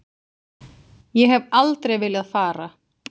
Ég hef aldrei viljað fara.